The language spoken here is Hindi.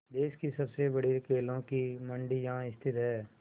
देश की सबसे बड़ी केलों की मंडी यहाँ स्थित है